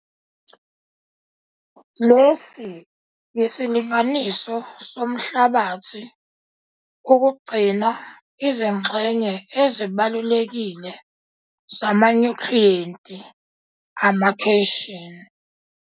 Lesi yisilinganiso somhlabathi ukugcina izingxenye ezibalulekile zamanyuthriyenti amacation.